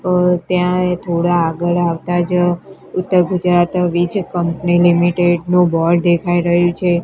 અં ત્યાં થોડા આગળ આવતા જ ઉત્તર ગુજરાત વીજ કંપની લિમિટેડ નું બોર્ડ દેખાય રહ્યું છે.